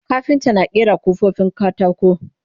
kafinta na ƙera kofofin katako